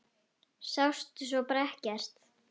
Sástu svo bara ekkert?